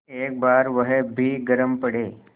एक बार वह भी गरम पड़े